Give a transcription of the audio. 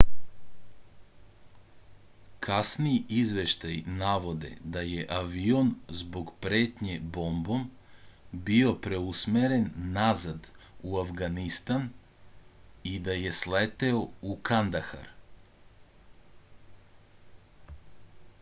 kasniji izveštaji navode da je avion zbog pretnje bombom bio preusmeren nazad u avganistan i da je sleteo u kandahar